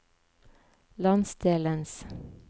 landsdelens